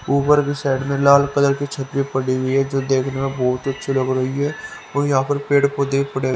ऊपर की साइड में लाल कलर की छतरी पड़ी हुई है जो देखने में बहोत ही अच्छी लग रही है और यहां पर पेड़ पौधे पड़े--